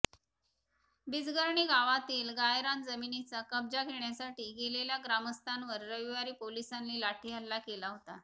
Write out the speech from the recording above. बिजगर्णी गावातील गायरान जमिनीचा कब्जा घेण्यासाठी गेलेल्या ग्रामस्थांवर रविवारी पोलिसांनी लाठीहल्ला केला होता